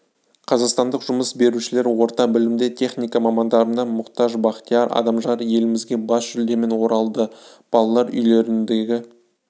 қазақстандық жұмыс берушілер орта білімді техника мамандарына мұқтаж бақтияр адамжан елімізге бас жүлдемен оралды балалар үйлеріндегі